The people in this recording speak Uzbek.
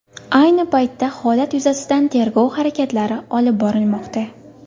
Ayni paytda holat yuzasidan tergov harakatlari olib borilmoqda.